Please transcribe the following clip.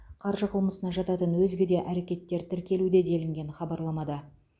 қаржы қылмысына жататын өзге де әрекеттер тіркелуде делінген хабарламада